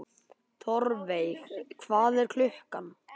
Þórveig, hvað er klukkan?